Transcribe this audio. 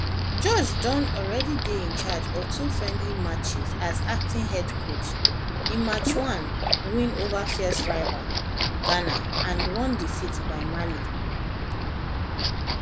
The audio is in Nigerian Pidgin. george don alreadydey in charge of two friendly matches as acting head coachin march one win over fierce rivals ghana and one defeat by mali